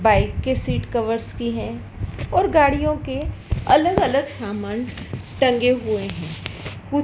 bike के seat covers की हैं और गाड़ियों के अलग अलग समान टंगे हुए हैं खुप